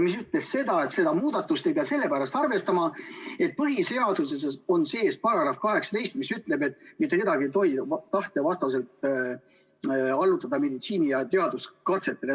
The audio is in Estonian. Te ütlesite, et seda muudatust ei pea sellepärast arvestama, et põhiseaduses on § 18, mis ütleb, et mitte kedagi ei tohi tema tahte vastaselt allutada meditsiini- ja teaduskatsetele.